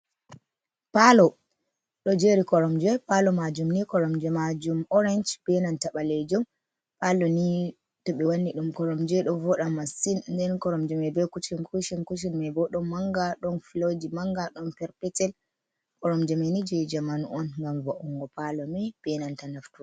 Palo ɗo jeri Koromje. Palo majumni koromje majum orensh be nanta ɓalejum. Palo ni to ɓe wanni ɗum koromje ɗo voɗa masin. nden Koromje mai be kucin kucin, kucin maibo ɗon manga ɗon filoji manga ɗon Perpetel. Koromje main je jamanu'on ngam vo'ungo Palo mi benanta nafu.